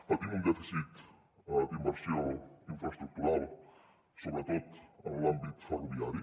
patim un dèficit d’inversió infraestructural sobretot en l’àmbit ferroviari